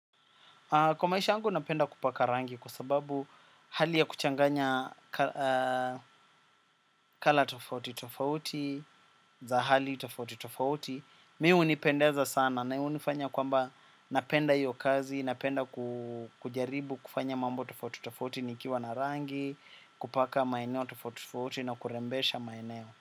Kwa maisha yangu napenda kupaka rangi kwa sababu hali ya kuchanganya rangi tofauti tofauti, za hali tofauti tofauti. Mimi hunipendeza sana na hunifanya kwamba napenda hiyo kazi, napenda kujaribu kufanya mambo tofauti tofauti nikiwa na rangi, kupaka maeneo tofauti tofauti na kurembesha maeneo.